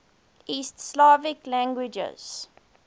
east slavic languages